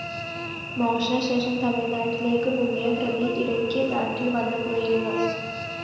മോഷണ ശേഷം തമിഴ്‌നാടിനു മുങ്ങിയ പ്രതി ഇടയ്ക്ക് നാട്ടില്‍ വന്നുപോയിരുന്നു